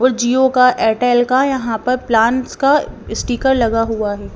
और जिओ का एयरटेल का यहां पर प्लान्स का स्टीकर लगा हुआ है।